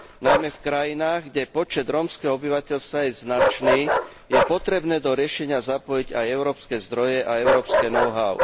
Najmä v krajinách, kde počet rómskeho obyvateľstva je značný, je potrebné do riešenia zapojiť aj európske zdroje a európske know how.